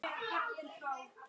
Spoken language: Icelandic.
Þá var svarið jafnan: Ég?!